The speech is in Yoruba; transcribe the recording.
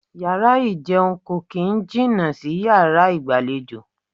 Yàrá ìjẹun kò kín ń jìnà sí yàrá ìgbàlejò.